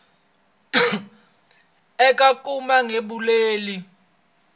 eka ku kuma vugembuli byo